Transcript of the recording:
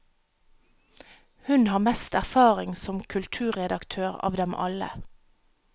Hun har mest erfaring som kulturredaktør av dem alle.